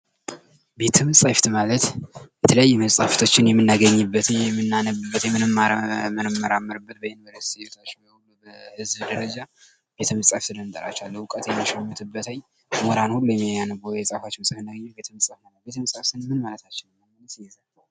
ቤተ መጽሐፍት ማለት የተለያዩ መፅሀፍትን የምናገኝበት ፣የምናነብበት፣ የምንማርበት በህዝብ ደረጃ ቤተ መጻሕፍት ብለን እንጠራቸዋለን።